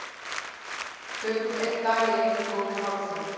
Tökum einn dag í einu góðir hálsar.